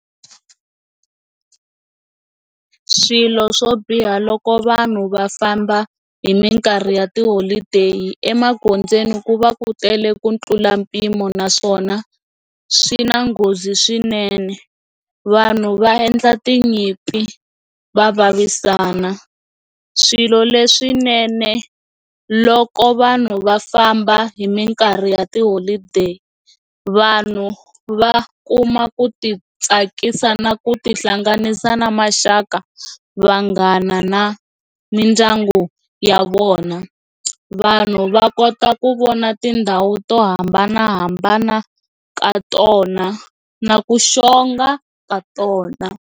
Swilo swo biha loko vanhu va famba hi minkarhi ya tiholodeyi emagondzweni ku va ku tele ku tlula mpimo naswona swi na nghozi swinene vanhu va endla tinyimpi va vavisana swilo leswinene loko vanhu va famba hi minkarhi ya tiholodeyi vanhu va kuma ku ti tsakisa na ku tihlanganisa na maxaka, vanghana na mindyangu ya vona vanhu va kota ku vona tindhawu to hambanahambana ka tona na ku xonga ka tona.